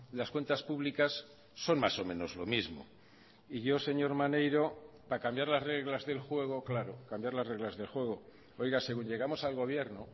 las cuentas públicas son más o menos lo mismo y yo señor maneiro para cambiar las reglas del juego claro cambiar las reglas de juego oiga según llegamos al gobierno